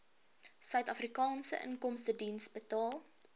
suidafrikaanse inkomstediens betaal